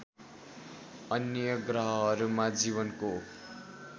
अन्य ग्रहहरूमा जीवनको